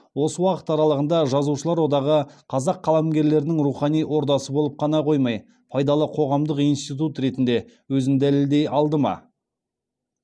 осы уақыт аралығында жазушылар одағы қазақ қаламгерлерінің рухани ордасы болып қана қоймай пайдалы қоғамдық институт ретінде өзін дәлелдей алды ма